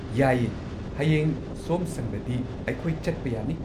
ꯌꯥꯏꯌꯦ, ꯍꯌꯦꯡ ꯁꯣꯝ ꯁꯪꯂꯗꯤ ꯑꯩꯈꯣꯏ ꯆꯠꯄ ꯌꯥꯅꯤ꯫